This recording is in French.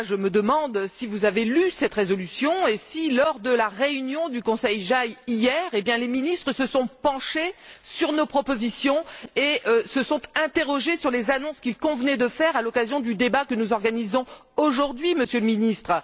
Je me demande toutefois si vous avez lu cette résolution et si, lors de la réunion du Conseil JAI, hier, les ministres se sont penchés sur nos propositions et se sont interrogés sur les annonces qu'il convenait de faire à l'occasion du débat que nous organisons aujourd'hui, Monsieur le Ministre.